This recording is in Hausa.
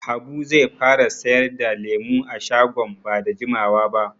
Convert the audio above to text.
Habu zai fara sayar da lemu a shagon ba da jimawa ba.